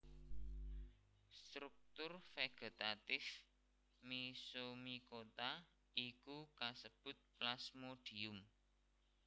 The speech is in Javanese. Struktur vegetativé Myxomicota iku kasebut plasmodium